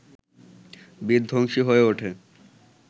বিধ্বংসী হয়ে ওঠে